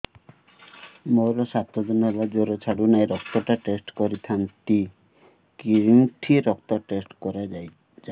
ମୋରୋ ସାତ ଦିନ ହେଲା ଜ୍ଵର ଛାଡୁନାହିଁ ରକ୍ତ ଟା ଟେଷ୍ଟ କରିଥାନ୍ତି କେଉଁଠି ରକ୍ତ ଟେଷ୍ଟ କରା ଯାଉଛି